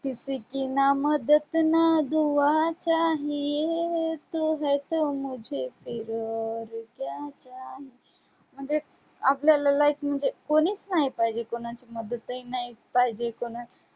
किसी की ना मदद ना दुआ चाहिये तू है तो मुझे फिर और क्या चाहिये म्हणजे आपल्याला like म्हणजे कोणीच नाही पाहिजे, कोणाची मदतही नाही पाहिजे,